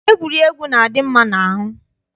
Egwuregwu na-adị mma n'ahụ.